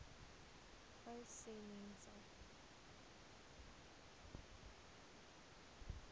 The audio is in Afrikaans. uys sê mense